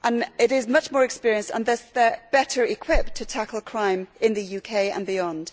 It is much more experienced, and thus better equipped, to tackle crime in the UK and beyond.